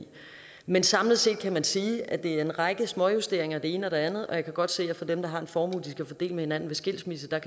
men samlet set kan man sige at det er en række småjusteringer ene og det andet og jeg kan godt se at for dem der har en formue de skal dele med hinanden ved skilsmisse kan